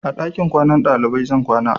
A ɗakin kwanan ɗalibai zan kwana.